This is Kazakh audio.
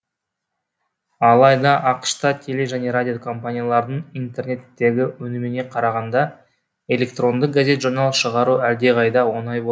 алайда ақш та теле және радио компаниялардың интернеттегі өніміне қарағанда электронды газет журнал шығару әлдеқайда оңай